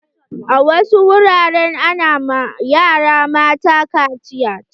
A wasu wuraren ana ma yara mata kaciya.